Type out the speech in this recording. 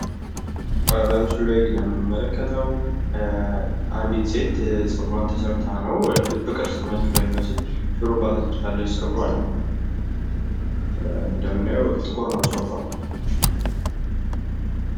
በምስሉ ላይ የምንመለከተዉ አንዲት ሴት ፀጉሯን ተሰርታ ነዉ። ልብ ቅርፅ መልክ በሚመስል ሹሩባ ተሰርታለች ፀጉሯን። እንደምናየዉ ጥቁር ነዉ ፀጉሯ